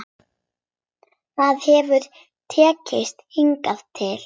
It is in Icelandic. Það hefur tekist hingað til.